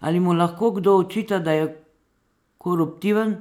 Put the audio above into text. Ali mu lahko kdo očita, da je koruptiven,